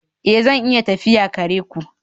Ee, zan iya tafiya kare ku